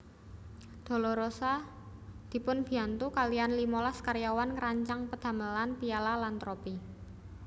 Dolorosa dipunbiyantu kaliyan limolas karyawan ngrancang pedamelan piala lan tropi